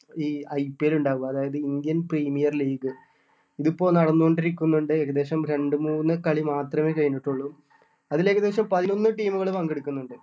ഈ IPL ഇണ്ടാവുക അതായത് Indian premier league ഇതിപ്പോ നടന്നോണ്ട് ഇരിക്കുന്നുണ്ട് ഏകദേശം രണ്ട് മൂന്ന് കളി മാത്രമേ കഴിഞ്ഞിട്ടുള്ളൂ അതില് ഏകദേശം പതിനൊന്ന് team കള് പങ്കെടുക്കുന്നുണ്ട്